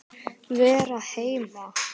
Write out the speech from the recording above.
Vera heima.